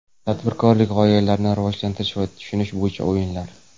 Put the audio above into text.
Tadbirkorlik g‘oyalarini rivojlantirish va tushunish bo‘yicha o‘yinlar.